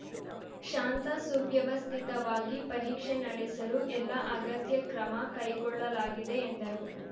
ಶಾಂತ ಸುವ್ಯವಸ್ಥಿತವಾಗಿ ಪರೀಕ್ಷೆ ನಡೆಸಲು ಎಲ್ಲಾ ಅಗತ್ಯ ಕ್ರಮ ಕೈಗೊಳ್ಳಲಾಗಿದೆ ಎಂದರು